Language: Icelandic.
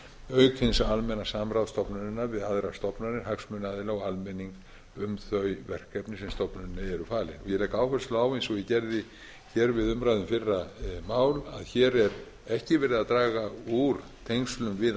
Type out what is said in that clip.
auk hins almenna samráðs stofnunarinnar við aðrar stofnanir hagsmunaaðila og almenning um þau verkefni sem stofnuninni eru falin ég legg áherslu á eins og ég gerði hér við umræðu um fyrra mál að hér er ekki verið að draga úr tengslum við